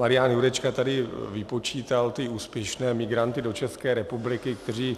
Marian Jurečka tady vypočítal ty úspěšné migranty do České republiky, kteří